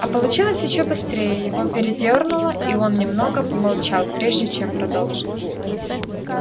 а получилось ещё быстрее его передёрнуло и он немного помолчал прежде чем продолжить